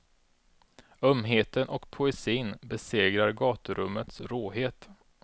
Ömheten och poesin besegrar gaturummets råhet.